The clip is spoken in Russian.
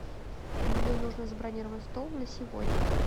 мне нужно забронировать стол на сегодня